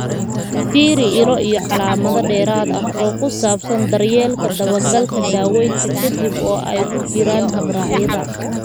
Fiiri ilo iyo macluumaad dheeraad ah oo ku saabsan daryeelka dabagalka daawaynta ka dib, oo ay ku jiraan habraacyada.